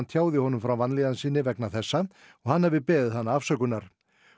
tjáði honum frá vanlíðan sinni vegna þessa og hann hafi beðið hana afsökunar